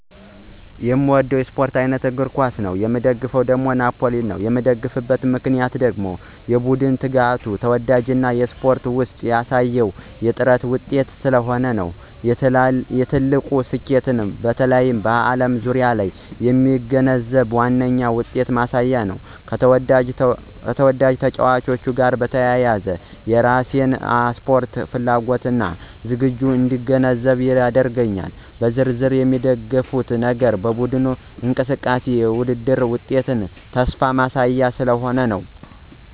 በጣም የሚወደው የስፖርት አይነት እግር ኳስ ነው። እግር ኳስ በህዝብ መካከል በጣም የተወደደ ስፖርት ሲሆን ቡድን ደግሞ የተወደደው ናፕሊየን ወይም አሁን ከፍተኛ ዝነኛ ቡድን ነው። እኔ እንደምን እንደምን እገነዘብ የምንደግፍ ነገር የቡድኑ ትጋት፣ ተወዳጅነት እና በስፖርት ውስጥ ያሳየው የጥራት ውጤት ስለሆነ ነው። የትልቁ ስኬቱ በተለይ በዓለም ዙሪያ የሚገነዘብ ዋነኛ ውጤትን ማሳያ ነው፣ ከተወዳጅ ተጫዋቾች ጋር በተያያዘ የራሴን ስፖርት ፍላጎት እና ዝግጅት እንዲገነዘብ ያደርጋል። በዝርዝር የሚደግፉት ነገር በቡድኑ እንቅስቃሴ፣ የውድድር ውጤትና ተስፋ ማሳያ ስለሆነ ነው።